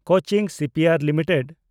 Cochin shipyard limited